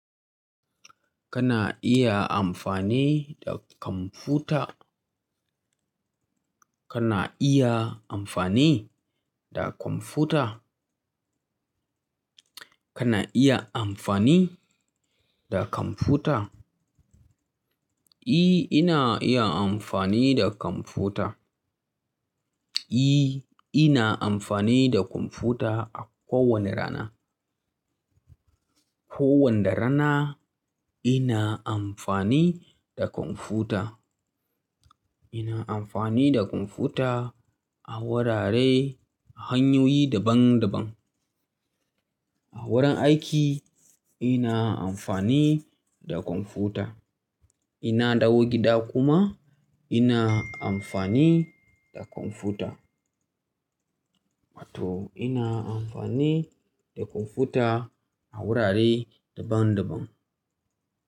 Kana iya amfani da kwamfuta? Kana iya amfani da kwamfuta? Kana iya amfani da kwamfuta? E, ina iya amfani da kwamfuta. Eh, ina amfani da kwamfuta a kowane rana. Ko wanda rana ina amfani da kwamfuta. Ina amfani da kwamfuta a wurare hanyoyi daban daban. A wurin aiki ina amfani da kwamfuta. Ina dawo gida kuma ina amfani da kwamfuta. Wato ina amfani da kwamfuta a wurare daban daban.